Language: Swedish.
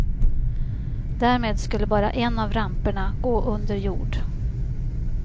Därmed skulle bara en av ramperna gå under jord.